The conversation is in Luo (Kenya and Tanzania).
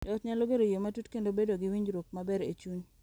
Jo ot nyalo gero yie matut kendo bedo gi winjruok maber e chuny.